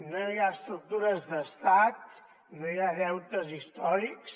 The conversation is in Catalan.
no hi ha estructures d’estat no hi ha deutes històrics